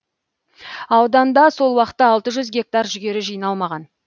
ауданда сол уақытта алты жүз гектар жүгері жиналмаған